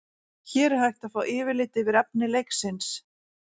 hér er hægt er að fá yfirlit yfir efni leiksins